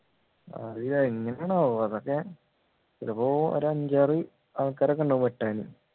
അതെങ്ങനെയാണ് ആവോ അതൊക്കെ ഇതിപ്പോ ഒരു അഞ്ചാറ് ആൾക്കാരൊക്കെ ഉണ്ടാവും വെട്ടാൻ